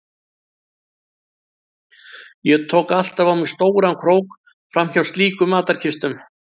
Ég tók alltaf á mig stóran krók fram hjá slíkum matarkistum.